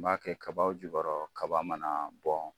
N b'a kɛ kabaw jukɔrɔ kaba mana bɔn